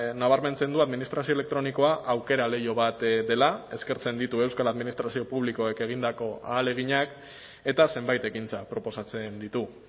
nabarmentzen du administrazio elektronikoa aukera leiho bat dela eskertzen ditu euskal administrazio publikoek egindako ahaleginak eta zenbait ekintza proposatzen ditu